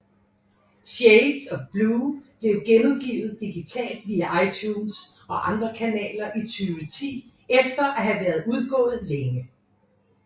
Shades of Blue blev genudgivet digitalt via iTunes og andre kanaler i 2010 efter at have været udgået længe